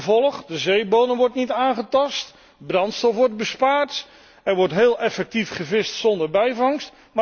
Gevolg de zeebodem wordt niet aangetast, brandstof wordt bespaard, er wordt heel effectief gevist zonder bijvangst.